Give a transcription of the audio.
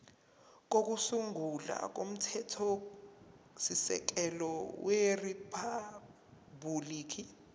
kokusungula komthethosisekelo weriphabhuliki